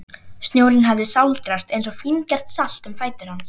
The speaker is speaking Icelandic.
Snjórinn hafði sáldrast eins og fíngert salt um fætur hans.